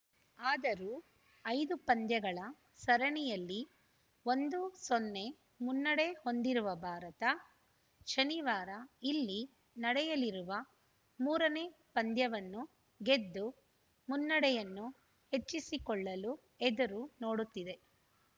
ಆದರೂ ಐದು ಪಂದ್ಯಗಳ ಸರಣಿಯಲ್ಲಿ ಒಂದು ಸೊನ್ನೆ ಮುನ್ನಡೆ ಹೊಂದಿರುವ ಭಾರತ ಶನಿವಾರ ಇಲ್ಲಿ ನಡೆಯಲಿರುವ ಮೂರನೇ ಪಂದ್ಯವನ್ನು ಗೆದ್ದು ಮುನ್ನಡೆಯನ್ನು ಹೆಚ್ಚಿಸಿಕೊಳ್ಳಲು ಎದುರು ನೋಡುತ್ತಿದೆ